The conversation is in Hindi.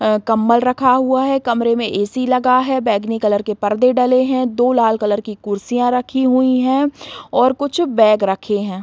अ कंबल रखा हुआ है कमरे में ए.सी. लगा है बैगनी कलर के पर्दे डले हैं दो लाल कलर की कुर्सियाँ रखी हुई हैं और कुछ बैग रखे हैं।